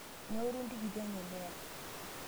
Neoru ntikiti enye neya